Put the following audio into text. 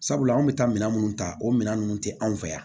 Sabula anw bɛ taa minɛn minnu ta o minɛn ninnu tɛ anw fɛ yan